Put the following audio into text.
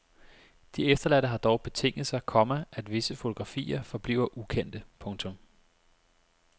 De efterladte har dog betinget sig, komma at visse fotografier forbliver ukendte. punktum